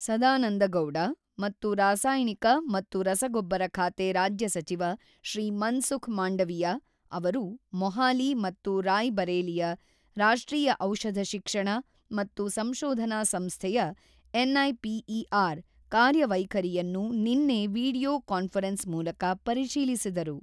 ಸದಾನಂದ ಗೌಡ ಮತ್ತು ರಾಸಾಯನಿಕ ಮತ್ತು ರಸಗೊಬ್ಬರ ಖಾತೆ ರಾಜ್ಯ ಸಚಿವ ಶ್ರೀ ಮನ್ಸುಖ್ ಮಾಂಡವಿಯಾ ಅವರು ಮೊಹಾಲಿ ಮತ್ತು ರಾಯ್ ಬರೇಲಿಯ ರಾಷ್ಟ್ರೀಯ ಔಷಧ ಶಿಕ್ಷಣ ಮತ್ತು ಸಂಶೋಧನಾ ಸಂಸ್ಥೆಯ ಎನ್ಐಪಿಇಆರ್ ಕಾರ್ಯವೈಖರಿಯನ್ನು ನಿನ್ನೆ ವಿಡಿಯೋ ಕಾನ್ಫರೆನ್ಸ್ ಮೂಲಕ ಪರಿಶೀಲಿಸಿದರು.